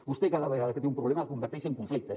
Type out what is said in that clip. vostè cada vegada que té un problema el converteix en conflicte